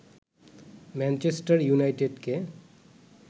Manchester ইউনাইটেডকে